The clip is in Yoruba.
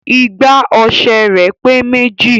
"Igbá ọṣẹ rẹ pe méjì